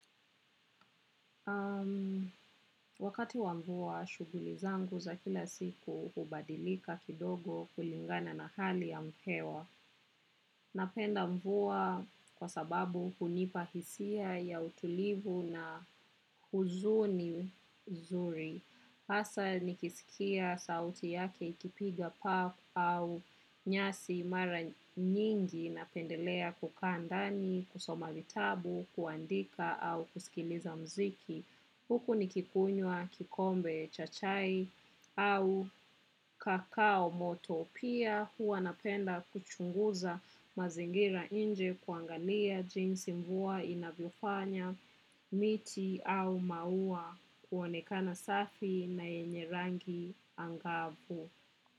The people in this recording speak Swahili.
Wakati wa mvua, shughuli zangu za kila siku hubadilika kidogo kulingana na hali ya hewa. Napenda mvua kwa sababu hunipahisia ya utulivu na huzuni nzuri. Hasa nikisikia sauti yake ikipiga paa au nyasi mara nyingi napendelea kukaa ndani, kusoma vitabu, kuandika au kuskiliza mziki. Huku ni kikunywa kikombe cha chai au kakao moto pia huwa napenda kuchunguza mazingira inje kuangalia jinsi mvua inavyofanya miti au maua kuonekana safi na yenye rangi angavu.